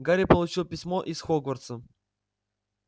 гарри получил письмо из хогвартса